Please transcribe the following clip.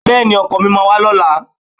Bẹ́ẹ̀ni, ọkọ mi máa wá lọ́la.